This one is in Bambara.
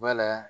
Wala